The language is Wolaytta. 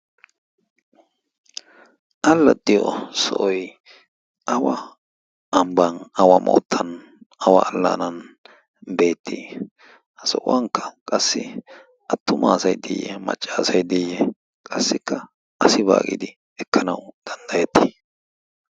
allaxxiyo sooi awa ambban awa moottan awa allaanan beetti ha so'uwankka qassi attumaasai diiyye maccaasai diiyye qassikka asi baagidi ekkanau danddayetti?